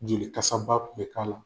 Jeli kasaba kun bɛ k'a la.